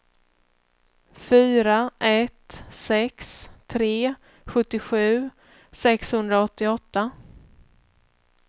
fyra ett sex tre sjuttiosju sexhundraåttioåtta